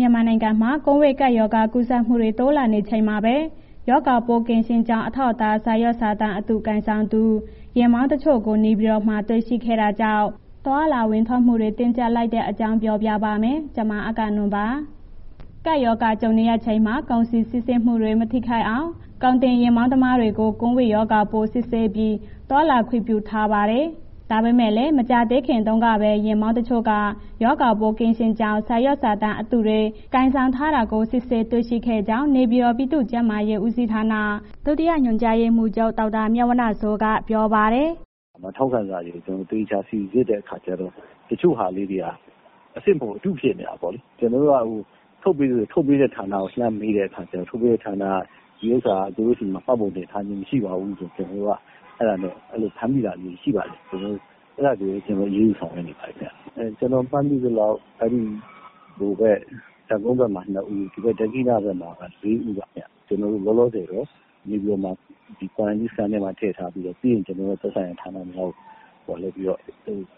မြန်မာနိုင်ငံမှာ ကိုဗစ်ကပ်ရောဂါ ကူးစက်မှုတွေ တိုးလာနေချိန်မှာပဲ ရောဂါပိုးကင်းရှင်းကြောင်း အထောက်အထား စာရွက်စာတမ်းအတု ကိုင်ဆောင်သူ ယာဉ်မောင်းတချို့ကို နေပြည်တော်မှာ တွေ့ရှိခဲ့တာကြောင့် သွားလာဝင်ထွက်မှုတွေ တင်းကြပ်လိုက်တဲ့အကြောင်း တင်ပြပါမယ်။ ဗွီအိုအေမြန်မာပိုင်း သတင်းထောက် မအဂ္ဂနွန်က သတင်းပေးပို့ထားပါတယ်။ ကပ်ရောဂါကြုံနေရချိန်မှာ ကုန်စည်စီးဆင်းမှုတွေ မထိခိုက်အောင် ကုန်တင်ယာဉ်မောင်းသမားတွေကို ကိုဗစ်ရောဂါပိုး စစ်ဆေးပြီး သွားလာခွင့်ပြုထားပါတယ်။ ဒါပေမဲ့လည်း မကြာသေးခင်တုန်းကပဲ ယာဉ်မောင်းတချို့က ရောဂါပိုး ကင်းရှင်းကြောင်း စာရွက်စာတမ်း အတုတွေ ကိုင်ဆောင်ထားတာကို စစ်ဆေးတွေ့ရှိခဲ့ကြောင်းနေပြည်တော် ပြည်သူ့ကျန်းမာရေးဦးစီးဌာန ဒုတိယညွှန်ကြားရေးမှူးချုပ် ဒေါက်တာမြတ်ဝဏ္ဏစိုးက ပြောပါတယ်။ “ထောက်ခံစာတွေ ကျနော်တို့ သေချာစိစစ်တဲ့ အခါကျတော့ တချို့ဟာလေးတွေက အစစ်မဟုတ်ဘူး၊ အတုဖြစ်နေတာပေါ့လေ။ ကျနော်က ထုတ်ပေးတဲ့ ဌာနကို လှမ်းတဲ့အခါကျတော့ ထုတ်ပေးတဲ့ဌာနက သူတို့ဆီမှာ မှတ်ပုံတင်ထားခြင်း မရှိပါဘူးဆိုတော့ ကျနော်တို့က အဲ့ဒီလို ဖမ်းမိတာမျိုး ရှိပါတယ်။ အဲ့ဒါဆိုရင် ကျနော်တို့ အရေးယူဆောင်ရွက်နေပါတယ်ဗျ။ ကျနော် မှတ်မိသလောက် တပ်ကုန်းဘက်မှာ နှစ်ဦး၊ ဒက္ခိဏဘက်မှာ လေးဦးပါခင်ဗျ။ လောလောဆယ်မှာ နေပြည်တော် quarantine မှာ ထည့်ထားပြီးတော့ ပြီးရင် ကျနော်တို့ သက်ဆိုင်ရာဌာနများကို လွှဲပြီးတော့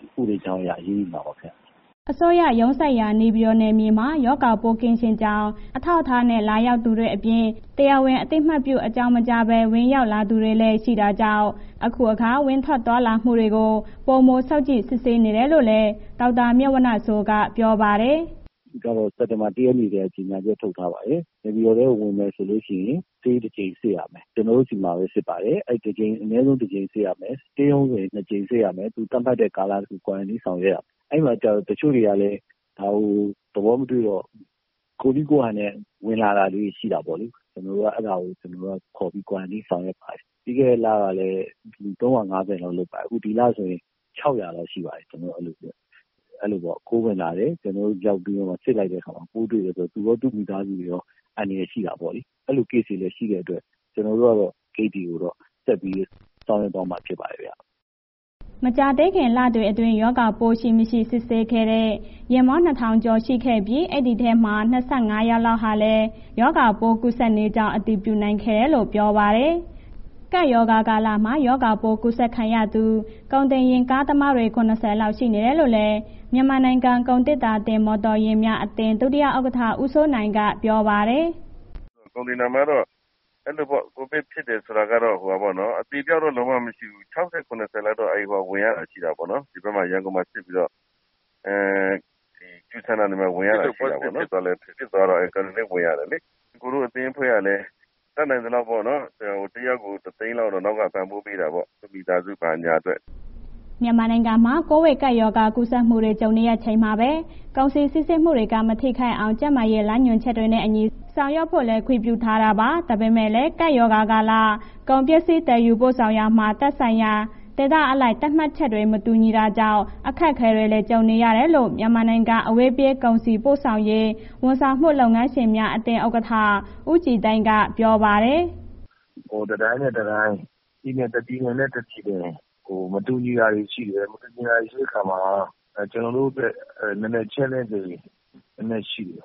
ဥပဒေကြောင်းအရ အရေးယူပါမှာပါ ခင်ဗျာ။” အစိုးရရုံးစိုက်ရာ နေပြည်တော် နယ်မြေမှာ ရောဂါပိုးကင်းရှင်းကြောင်း အထောက်အထားနဲ့ လာရောက်သူတွေအပြင်၊ တရားဝင် အသိပေး အကြောင်းမကြားဘဲ ဝင်ရောက်လာသူတွေလည်း ရှိနေတာကြောင့် အခုအခါ ဝင်ထွက်သွားလာမှုတွေကို ပိုမိုစောင့်ကြည့် စစ်ဆေးနေတယ်လို့လည်း ဒေါက်တာမြတ်ဝဏ္ဏစိုးက ပြောပါတယ်။ “စက်တင်ဘာ ၁ ရက်နေ့ကတည်းက ကြေညာချက်ထုတ်ထားပါတယ်။ နေပြည်တော်ထဲမှာ ဝင်မယ်ဆိုရင် ဆေးတစ်ချိန်စစ်ရမယ်။ ကျနော်တို့ဆီမှာ စစ်ပါတယ်။ အနည်းဆုံးတစ်ချိန်စစ်ရမယ်၊ stay home ဝင်ရင် နှစ်ကြိမ်စစ်ရမယ်။ သတ်မှတ်တဲ့ ကာလ quarantine ဆောင်ရွက်ရမယ်၊ အဲ့ဒါကို တချို့တွေကလည်း ဒါကို သဘောမတွေ့ဘဲ ကိုယ့်နည်းကိုယ့်ဟာနဲ့ ဝင်လာတာလေး ရှိတယ်ပေါ့လေ။ ကျနော်တို့က အဲ့ဒါကို ခေါ်ပြီး quarantine ဆောင်ရွက်ပါတယ်။ ပြီးခဲ့တဲ့ လကလည်း ၃၅၀ လောက်လုပ်ပါတယ်။ အခုဒီလဆိုရင် ၆၀၀ လောက်ရှိပါတယ်။ အဲ့ဒီလိုပေါ့ ခိုးဝင်လာတယ်။ ကျနော်တို့ စစ်လိုက်တဲ့အခါမှာ ပို့တွေ့တယ်။ သူရော၊ သူ့မိသားစုရော အန္တရာယ်ရှိတာပေါ့။ အဲ့ဒီလို case ရှိတဲ့အတွက် ကျနော်တို့ကတော့ ဂိတ်တွေကိုတော့ ဆက်ပြီးဆောင်ရွက်သွားမှာ ဖြစ်ပါတယ်ခင်ဗျာ။” မကြာသေးခင် လတွေအတွင်း ရောဂါပိုးရှိ၊ မရှိ စစ်ဆေးခဲ့တဲ့ ယာဉ်မောင်း ၂,၀၀၀ ကျော် ရှိခဲ့ပြီး ဒီအထဲက ၂၅ ယောက်လောက်ဟာလည်း ရောဂါကူးစက်နေကြောင်း အတည်ပြုနိုင်ခဲ့တယ်လို့ ပြောပါတယ်။ ကပ်ရောဂါကာလမှာ ရောဂါပိုး ကူးစက်ခံရသူ ကုန်တင်ယာဉ်ကားသမား ၇၀ လောက် ရှိနေတယ်လို့လည်း မြန်မာနိုင်ငံ ကုန်သေတ္တာတင်မော်တော်ယာဉ်များ အသင်း ဒုတိယဥက္ကဋ္ဌ ဦးစိုးနိုင်က ပြောပါတယ်။ “ကုန်သေတ္တာမှာတော့ အဲဒီလိုပေ့ါ... ကိုဗစ်ဖြစ်တယ်ဆိုတာကတော့ အသေအပျောက်တော့ လုံးဝမရှိဘူး။ ၆၀၊ ၇၀ လောက်တော့ ဝင်ရတာရှိတာပေါ့နော်။ ရန်ကုန်မှာ စစ်ပြီးတော့ quarantine ဝင်ရတာ ရှိတယ်ပေါ့နော်။ စစ်လို့ positive ဖြစ်သွားလို့ quarantine ဝင်ရတယ်လေ။ ကိုယ့်အသင်းအဖွဲ့ကလည်း တတ်နိုင်သလောက်ပေါ့နော်... တစ်ယောက်ကို ၁၀၀,၀၀၀ လောက်တော့ ပံ့ပိုးပေးတာပေါ့။ သူ့မိသားစုဘာညာအတွက်ပေါ့။” မြန်မာနိုင်ငံမှာ ကိုဗစ်ကပ်ရောဂါ ကူးစက်မှုတွေ ကြုံနေရချိန်မှာပဲ ကုန်စည်စီးဆင်းမှုတွေမှာ မထိခိုက်အောင် ကျန်းမာရေး လမ်းညွှန်ချက်တွေနဲ့အညီ ဆောင်ရွက်ဖို့လည်း ခွင့်ပြုထားတာပါ။ ဒါပေမဲ့လည်း ကပ်ရောဂါကာလ ကုန်ပစ္စည်း သယ်ယူပို့ဆောင်ရာမှာ သက်ဆိုင်ရာ ဒေသအလိုက် သတ်မှတ်ချက်တွေ မတူတာကြောင့် အခက်အခဲတွေလည်း ကြုံနေရတယ်လို့ မြန်မာနိုင်ငံ အဝေးပြေး ကုန်စည်ပို့ဆောင်ရေး ဝန်ဆောင်မှုလုပ်ငန်းရှင်များအသင်း ဥက္ကဋ္ဌ ဦးကြည်သိန်းက ပြောပါတယ်။ “တစ်တိုင်းနဲ့ တစ်တိုင်း၊ တစ်ပြည်နဲ့ တစ်ပြည်နယ် မတူညီတာတွေ ရှိတယ်။ မတူညီတာတွေရှိတဲ့ အခါမှာ ကျနော်တို့တွက် challenge တွေ နည်းနည်းရှိတယ်။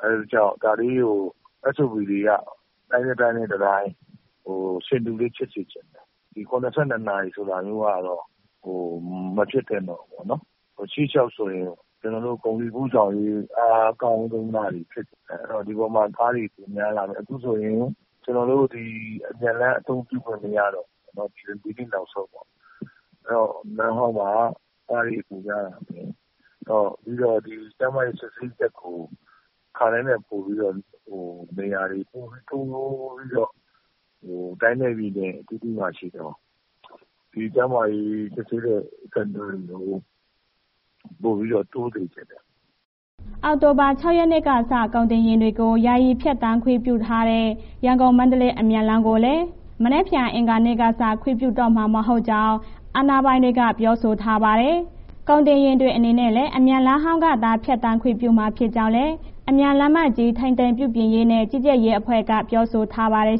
SOP တွေက တိုင်းနဲ့ တစ်တိုင်း ဆင်တူလေးဖြစ်စေချင်တယ်။ ၇၂ နာရီဆိုတာမျိုးကတော့ မဖြစ်သင့်တော့ဘူးပေါ့နော်။ ရှေ့လျှောက်ဆိုရင် ကျနော်တို့ ကုန်စည်ပို့ဆောင်ရေး အားကောင်းလာတဲ့ဟာဖြစ်စေချင်တယ်။ ဒီအပေါ်မှာ ကားတွေ များလာမယ်။ အခုဆိုရင် အမြန်လမ်းအသုံးပြုခွင့် မရတော့ဘူး၊ ဒီနေ့နောက်ဆုံးပေါ့။ အဲ့ဒီတော့ လမ်းဟောင်းမှာ ကားတွေ ပိုများလာမယ်။ ကျန်းမာရေးစစ်ဆေးချက်ကို အခါတိုင်းထက်ပိုပြီးတော့ နေရာတွေ ပိုပြီးတိုးပြီးတော့ တိုင်းနဲ့ ပြည်နယ်အသီးသီးမှာ ရှိတဲ့ ကျန်းမာရေးစစ်ဆေးတဲ့ center တွေ ပိုပြီး တိုးစေချင်တယ်။” အောက်တိုဘာ ၆ ရက်နေ့ကစ ကုန်တင်ယာဉ်တွေကို ယာယီဖြတ်သန်းခွင့်ပြုထားတဲ့ ရန်ကုန်-မန္တလေး အမြန်လမ်းကိုလည်း မနက်ဖြန် အင်္ဂါနေ့ကစ ခွင့်ပြုတော့မှာ မဟုတ်ကြောင်း အာဏာပိုင်တွေက ပြောဆိုထားပါတယ်။ ကုန်တင်ယာဉ်တွေအနေနဲ့ အမြန်လမ်းဟောင်းကသာ ဖြတ်သန်းခွင့်ပြုမှာ ဖြစ်ကြောင်းလည်း အမြန်လမ်းကြီး ထိန်းသိမ်းပြုပြင်ရေးနဲ့ ကြီးကြပ်ရေးအဖွဲ့က ပြောဆိုထားပါတယ်